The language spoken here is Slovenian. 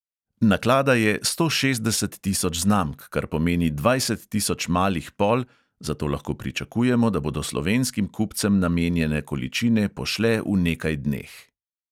Naklada je sto šestdeset tisoč znamk, kar pomeni dvajset tisoč malih pol, zato lahko pričakujemo, da bodo slovenskim kupcem namenjene količine pošle v nekaj dneh.